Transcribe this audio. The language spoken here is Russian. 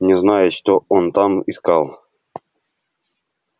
не знаю что он там искал